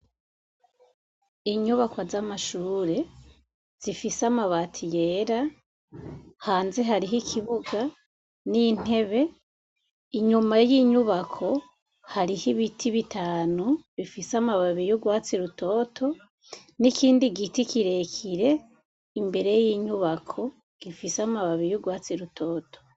Inyubako z'amashure zifise amabati yera hanze hariho ikibuga n'intebe inyuma y'inyubako hariho ibiti bitanu bifise amababi y'urwatsi rutoto n'ikindi giti kirekire imbere y'inyuba bako gifise amababi y'urwatsi rutoto.